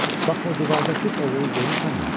Bax o divardakı ovu görürsənmi?